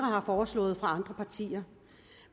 har foreslået